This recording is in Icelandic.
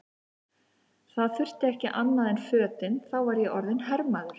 Það þurfti ekki annað en fötin, þá var ég orðinn hermaður!